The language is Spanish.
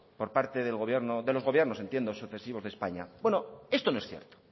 por parte del gobierno de los gobiernos entiendo sucesivos de españa bueno esto no es cierto